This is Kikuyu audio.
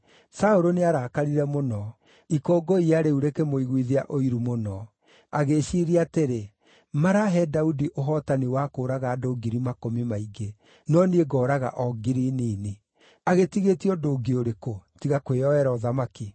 Saũlũ nĩarakarire mũno; ikũngũiya rĩu rĩkĩmũiguithia ũiru mũno. Agĩĩciiria atĩrĩ, “Marahe Daudi ũhootani wa kũũraga andũ ngiri makũmi maingĩ, no niĩ ngooraga o ngiri nini. Agĩtigĩtie ũndũ ũngĩ ũrĩkũ, tiga kwĩyoera ũthamaki?”